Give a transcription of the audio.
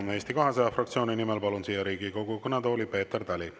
Palun Eesti 200 fraktsiooni nimel kõnelema Riigikogu kõnetooli Peeter Tali.